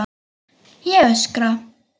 Ég öskra.